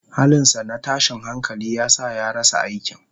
Halinsa na tashin hankali ya sa ya rasa aikin.